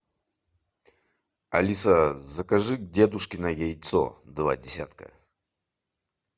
алиса закажи дедушкино яйцо два десятка